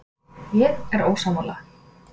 Ég er ósammála.